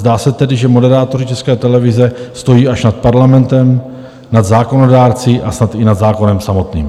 Zdá se tedy, že moderátoři České televize stojí až nad parlamentem, nad zákonodárci a snad i nad zákonem samotným.